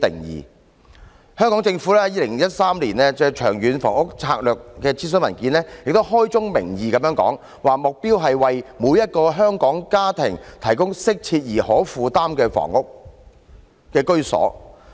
而香港政府亦在2013年《長遠房屋策略》諮詢文件中開宗明義表示，"目標是為每一個香港家庭提供適切而可負擔的居所"。